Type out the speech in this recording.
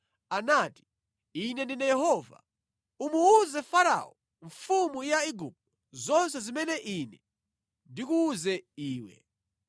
anati, “Ine ndine Yehova. Umuwuze Farao mfumu ya Igupto zonse zimene Ine ndikuwuze iwe.”